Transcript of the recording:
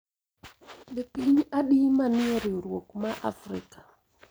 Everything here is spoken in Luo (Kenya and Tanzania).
Be piny adi ma ni e riwruok ma Afrika?